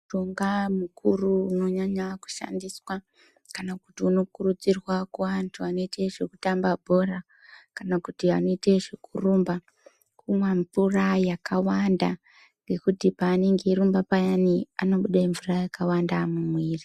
Mushonga mukuru unonyanya kushandiswa kana kuti uno kukurudzirwa kune anhu anoitezve kurumba kana zvekutambe bhora kumwe mvura yakawanda ngekuti paanonge eirumba payani unobude mvura yakawanda mumwiri.